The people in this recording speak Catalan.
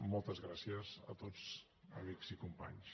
moltes gràcies a tots amics i companys